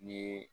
N'i ye